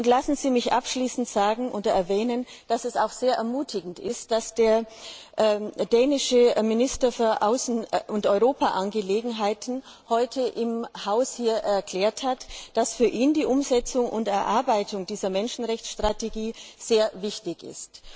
Lassen Sie mich abschließend erwähnen, dass es sehr ermutigend ist, dass der dänische Minister für Außen und Europaangelegenheiten heute hier erklärt hat, dass für ihn die Umsetzung und Erarbeitung dieser Menschenrechtsstrategie sehr wichtig ist.